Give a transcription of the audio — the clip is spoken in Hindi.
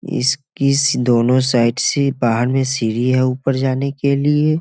इस किस दोनों साइड से बाहर में सीढ़ी है ऊपर जाने के लिए।